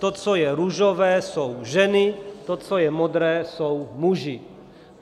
To, co je růžové, jsou ženy, to, co je modré, jsou muži.